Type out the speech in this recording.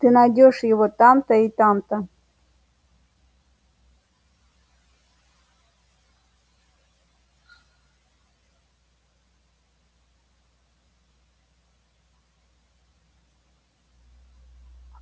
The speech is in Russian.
ты найдёшь его там-то и там-то